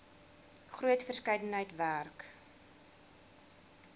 groot verskeidenheid werk